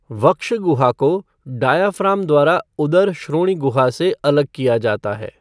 वक्ष गुहा को डायाफ़्राम द्वारा उदर श्रोणि गुहा से अलग किया जाता है।